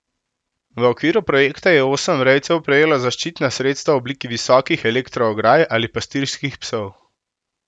V okviru projekta je osem rejcev prejelo zaščitna sredstva v obliki visokih elektroograj ali pastirskih psov.